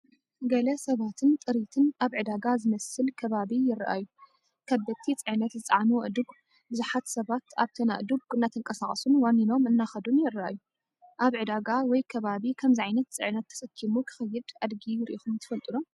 ገለ ሰባትን ጥሪትን ኣብ ዕዳጋ ዝመስል ከባቢ ይረኣዩ። ከበድቲ ፅዕነት ዝፀዓኑ ኣእዱግ። ብዙሓት ሰባት ኣብተን ኣእዱግ እናተንቀሳቐሱን ዋኒኖም እናኸዱን ይረኣዩ። ኣብ ዕዳጋ ወይ ከባቢ ከምዚ ዓይነት ጽዕነት ተሰኪሙ ክኸይድ ኣድጊ ርኢኹም ትፈልጡ ዶ?